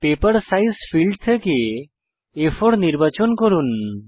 paper size field থেকে আ4 নির্বাচন করুন